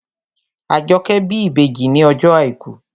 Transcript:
Àjọkẹ́ bí ìbejì ní ọjọ́ àìkú